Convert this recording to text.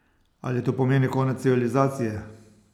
Ali to pomeni konec civilizacije?